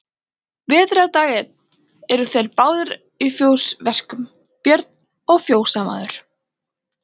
Vetrardag einn eru þeir báðir að fjósverkum, Björn og fjósamaður.